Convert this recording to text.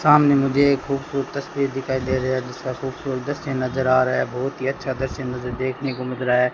सामने मुझे एक खूबसूरत तस्वीर दिखाई दे रहे है जिसका खूबसूरत दृश्य नजर आ रहा है बहुत ही अच्छा दृश्य मुझे देखने को मिल रहा है।